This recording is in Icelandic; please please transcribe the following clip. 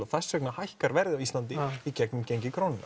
þess vegna hækkar verð á Íslandi í gegnum gengi krónunnar